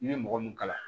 I bɛ mɔgɔ min kalan